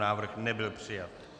Návrh nebyl přijat.